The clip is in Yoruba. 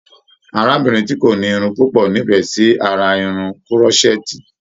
Arábìnrin ti ko ni Irun pupo n'ifẹ sí ará Irun kùrọsẹẹ́ti.